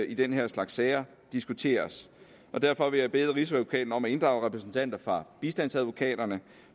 i den her slags sager diskuteres derfor vil jeg bede rigsadvokaten om at inddrage repræsentanter for bistandsadvokaterne